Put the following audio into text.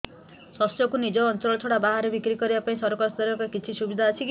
ଶସ୍ୟକୁ ନିଜ ଅଞ୍ଚଳ ଛଡା ବାହାରେ ବିକ୍ରି କରିବା ପାଇଁ ସରକାରୀ ସ୍ତରରେ କିଛି ସୁବିଧା ଅଛି କି